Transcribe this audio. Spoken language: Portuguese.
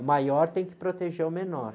O maior tem que proteger o menor.